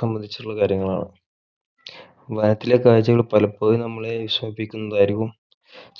സംബന്ധിച്ചുള്ള കാര്യങ്ങളാണ് നാട്ടിലെ കാഴ്ചകൾ പലപ്പോഴും നമ്മളെ വിഷമിപ്പിക്കുന്നതായിരിക്കും